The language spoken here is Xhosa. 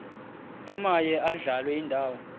omaye adlale indawo